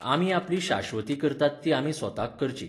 आमी आपली शाश्वती करतात ती आमी स्वताक करची.